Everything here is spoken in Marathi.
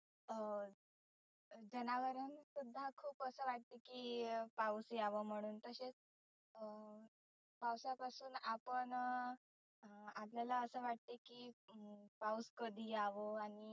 अं जनावरान खुप असं वाटतं की पाऊस यावं म्हणुन तसेच अं पावसापासुन आपण अं आपल्याला असं वाटतं की पाऊस कधी यावं